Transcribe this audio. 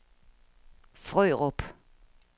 Frørup